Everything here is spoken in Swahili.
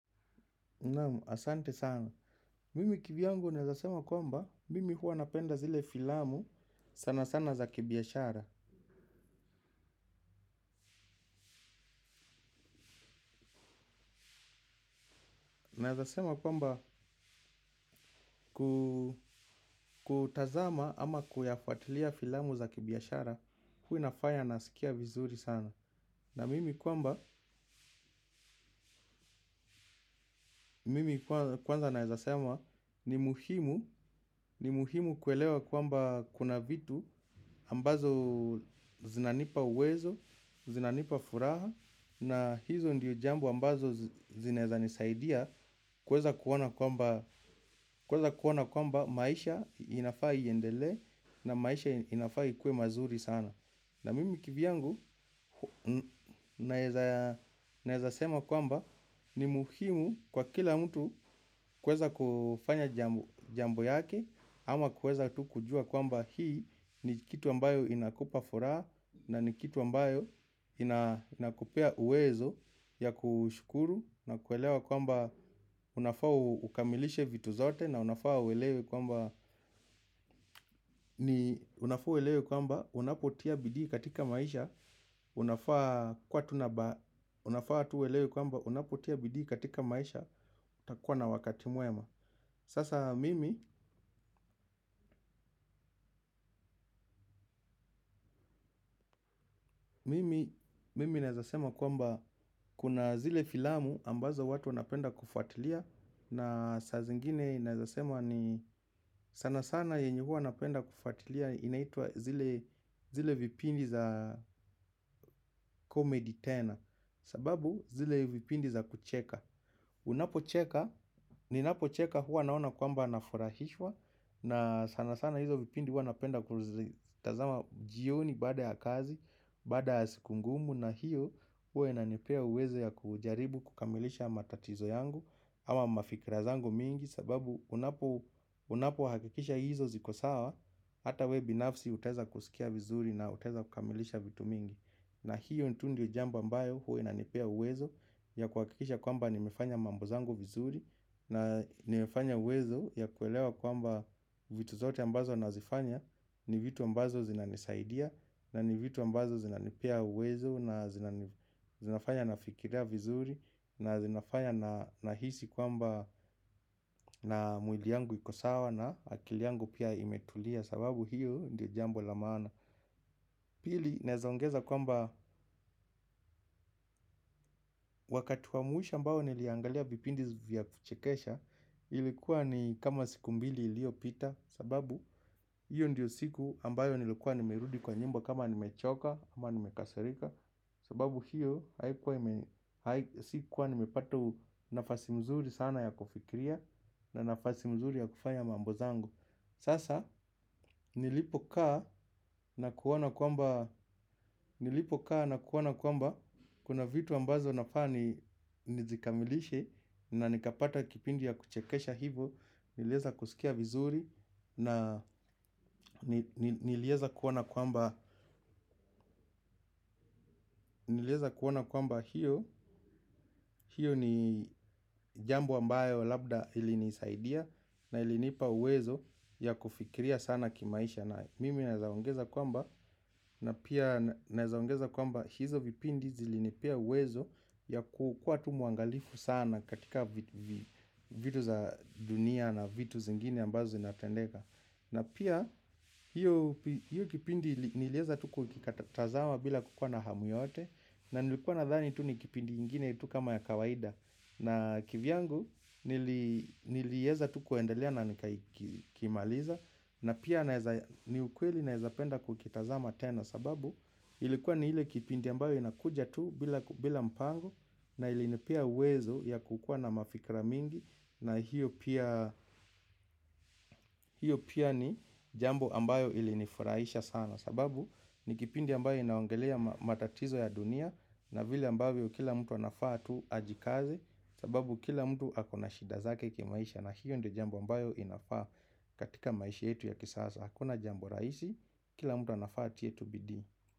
Asante sana. Mimi kivyangu nawezasema kwamba mimi huwa napenda zile filamu sana sana za kibiashara. Naweza kusema kwamba kutazama ama kuyafuatilia filamu za kibiashara huwa inafanya nasikia vizuri sana. Na mimi kwamba mimi kwanza naweza sema ni muhimu ni muhimu kuelewa kwamba kuna vitu ambazo zinanipa uwezo, zinanipa furaha. Na hizo ndiyo jambu ambazo zinaweza nisaidia kweza kuona kwamba maisha inafaa iendele na maisha inafaa ikue mazuri sana. Na mimi kivyangu naweza sema kwamba ni muhimu kwa kila mtu kuweza kufanya jambo yake. Ama kuweza tu kujua kwamba hii ni kitu ambayo inakupa furaha. Na ni kitu ambayo inakupea uwezo ya kushukuru. Na kuelewa kwamba unafaa ukamilishe vitu zote. Na unafaa uelewe kwamba unafaa uelewe kwamba unapotia bidii katika maisha unafaa kwa tunaba unafaa tu uelewe kwamba unapotia bidii katika maisha utakuwa na wakati mwema. Sasa mimi, mimi, mimi naweza sema kwamba kuna zile filamu ambazo watu wanapenda kufuatilia. Na saa zingine naweza sema ni sana sana yenye huwa napenda kufuatilia inaitwa zile vipindi za komedi tena. Sababu zile vipindi za kucheka unapo cheka, ninapo cheka huwa naona kwamba nafurahishwa. Na sana sana hizo vipindi huwanapenda kuzitazama jioni bada ya kazi, baada ya siku ngumu na hiyo uwa inanepea uwezo ya kujaribu kukamilisha matatizo yangu. Ama mafikira zangu mingi sababu unapo hakikisha hizo ziko sawa. Hata we binafsi utaweza kusikia vizuri na utaweza kukamilisha vitu mingi. Na hiyo tu ndiyo jambo ambayo huwa inanipea uwezo ya kuhakikisha kwamba nimefanya mambo zangu vizuri. Na nimefanya uwezo ya kuelewa kwamba vitu zote ambazo nazifanya. Ni vitu ambazo zinanisaidia na ni vitu ambazo zinanipea uwezo na zinafanya nafikiria vizuri na zinafanya nahisi kwamba na mwili yangu iko sawa na akili yangu pia imetulia. Sababu hiyo ndiyo jambo la maana. Pili, naweza ongeza kwamba wakati wa mwisho ambao niliangalia kipindi vya kuchekesha. Ilikuwa ni kama siku mbili iliyo pita sababu hiyo ndiyo siku ambayo nilikuwa nimerudi kwa nyumba kama nimechoka ama nimekasarika sababu hiyo haikuwa sikuwa nimepata nafasi nzuri sana ya kufikiria na nafasi nzuri ya kufanya mambo zangu sasa nilipo kaa na kuona kwamba kuna vitu ambazo nafaa ni nizikamilishe na nikapata kipindi ya kuchekesha hivyo niliweza kusikia vizuri na niliweza kuona kwamba hiyo ni jambo ambayo labda ilinisaidia. Na ilinipa uwezo ya kufikiria sana kimaisha na mimi naweza ongeza kwamba na pia naweza ongeza kwamba hizo vipindi zilinipia uwezo ya kukuwa tu mwangalifu sana katika vitu za dunia na vitu zingine ambazo inatendeka. Na pia hiyo kipindi niliweza tu kukikatazama bila kukuwa na hamu yote. Na nilikuwa nadhani tu nikipindi ingine tu kama ya kawaida. Na kivyangu niliweza tu kuendalea na nikakimaliza na pia ni ukweli naweza penda kukitazama tena sababu ilikuwa ni ile kipindi ambayo inakuja tu bila mpango na ilinipea uwezo ya kukuwa na mafikira mingi. Na hiyo pia ni jambo ambayo ili nifuraisha sana. Sababu ni kipindi ambayo inaongelea matatizo ya dunia na vile ambayo kila mtu anafaa tu ajikaze. Sababu kila mtu akona shida zake kimaisha. Na hiyo ndiyo jambo ambayo inafaa katika maisha yetu ya kisasa. Hakuna jambo rahisi, kila mtu anafaa atie tu bidii.